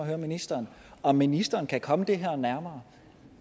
høre ministeren om ministeren kan komme det her nærmere